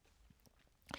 DR K